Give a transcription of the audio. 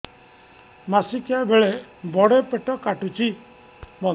ମାସିକିଆ ବେଳେ ବଡେ ପେଟ କାଟୁଚି